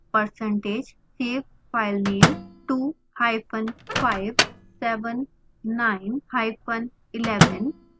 percentage save filename 25 7 9 hyphen 11